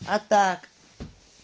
а так